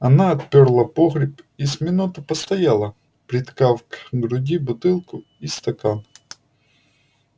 она отперла погребец и с минуту постояла приткав к груди бутылку и стакан